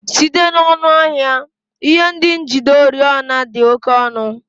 Site n'ọnụ ahịa, ihe ndị njide oriọna dị oke ọnụ